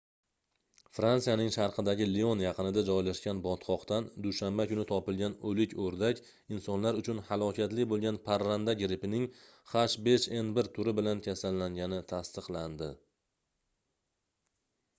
fransiyaning sharqidagi lion yaqinida joylashgan botqoqdan dushanba kuni topilgan o'lik o'rdak insonlar uchun halokatli bo'lgan parranda grippining h5n1 turi bilan kasallangani tasdiqlandi